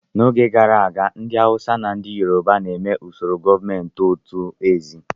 N'oge gara aga, ndị Awụsa na ndị Yoroba na-eme usoro gọọmentị otu eze.